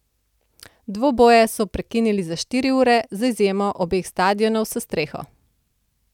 Dvoboje so prekinili za štiri ure, z izjemo obeh stadionov s streho.